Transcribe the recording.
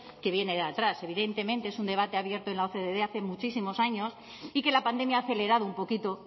que viene de atrás evidentemente es un debate abierto en la ocde hace muchísimos años y que la pandemia ha acelerado un poquito